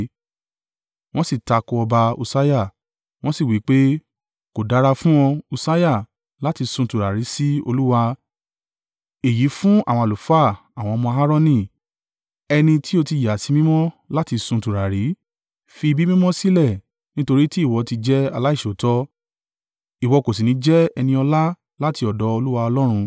Wọ́n sì takò ọba Ussiah, wọn sì wí pé, “Kò dára fún ọ, Ussiah, láti sun tùràrí sí Olúwa. Èyí fún àwọn àlùfáà, àwọn ọmọ Aaroni, ẹni tí ó ti yà sí mímọ́ láti sun tùràrí. Fi ibi mímọ́ sílẹ̀, nítorí tí ìwọ ti jẹ́ aláìṣòótọ́, ìwọ kò sì ní jẹ́ ẹni ọlá láti ọ̀dọ̀ Olúwa Ọlọ́run.”